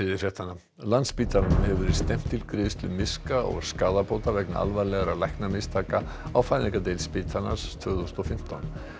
landspítalanum hefur verið stefnt til greiðslu miska og skaðabóta vegna alvarlegra læknamistaka á fæðingardeild spítalans tvö þúsund og fimmtán